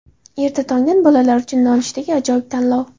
Erta tongdan bolalar uchun nonushtaga ajoyib tanlov.